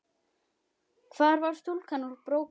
Hvar var stúlkan úr Brokey?